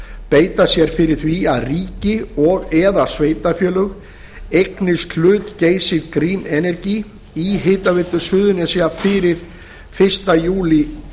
beita sér fyrir því að ríki og eða sveitarfélög eignist hlut geysis green energy í hitaveitu suðurnesja fyrir fyrsta júlí